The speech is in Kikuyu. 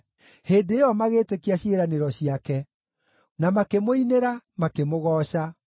Hĩndĩ ĩyo magĩĩtĩkia ciĩranĩro ciake, na makĩmũinĩra, makĩmũgooca.